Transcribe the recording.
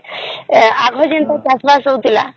ଆଗରୁ ଯେମିତି ଚାଷବାସ ହଉଥିଲା